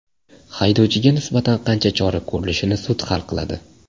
Haydovchiga nisbatan qanday chora ko‘rilishini sud hal qiladi.